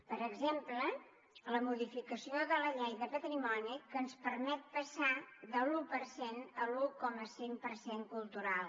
per exemple la modificació de la llei de patrimoni que ens permet passar de l’un per cent a l’un coma cinc per cent cultural